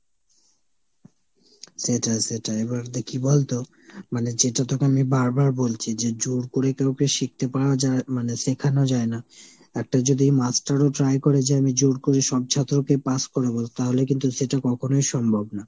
সেটাই সেটাই। এবার দে কী বলতো মানে যেটা তোকে আমি বারবার বলছি যে জোর করে কাউকে শিখতে পারা যায় মানে শেখানো যায় না। একটা যদি master ও try করে যে আমি জোর করে সব ছাত্রকে pass করাবো তাহলে কিন্তু সেটা কখনোই সম্ভব না।